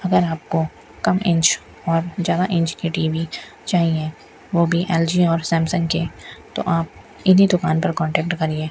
अगर आपको कम इंच और ज्यादा इंच की टी_वी चाहिए वो भी एल_जी और सैमसंग के तो आप इन्हीं दुकान पर कॉन्टैक्ट करिए।